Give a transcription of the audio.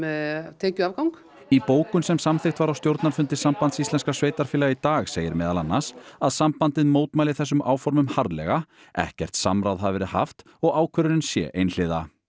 tekjuafgang í bókun sem samþykkt var á stjórnarfundi Sambands íslenskra sveitarfélaga í dag segir meðal annars að sambandið mótmæli þessum áformum harðlega ekkert samráð hafi verið haft og ákvörðunin sé einhliða